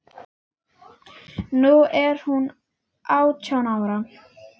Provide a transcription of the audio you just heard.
Nú er hún átján ára.